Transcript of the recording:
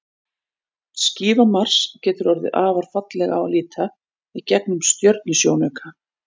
Skífa Mars getur orðið afar falleg á að líta í gegnum stjörnusjónauka.